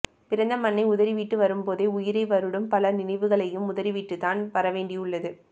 பிறந்த மண்ணை உதறிவிட்டு வரும்போதே உயிரை வருடும் பல நினைவுகளையும் உதறிவிட்டுத்தான் வரவேண்டியுள்ளது